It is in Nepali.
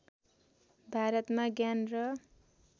भारतमा ज्ञान र